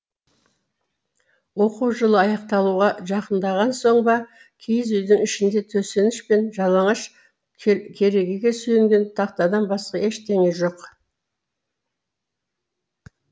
оқу жылы аяқталуға жақындаған соң ба киіз үйдің ішінде төсеніш пен жалаңаш керегеге сүйеген тақтадан басқа ештеңе жоқ